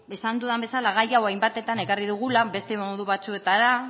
esan dudan bezala gai hau hainbatetan ekarri dugula beste modu batzuetara